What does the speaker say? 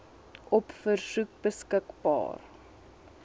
op versoek beskikbaar